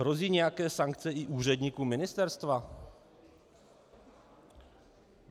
Hrozí nějaké sankce i úředníkům Ministerstva?